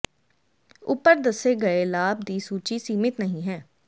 ਉਪਰ ਦੱਸੇ ਗਏ ਲਾਭ ਦੀ ਸੂਚੀ ਸੀਮਿਤ ਨਹੀ ਹੈ